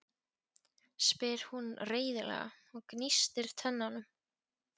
spyr hún reiðilega og gnístir tönnum.